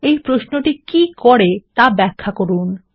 এই প্রশ্নটি কী করে তা ব্যখ্যা করুন